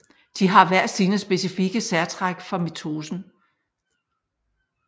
De har hver sine specifikke særtræk for mitosen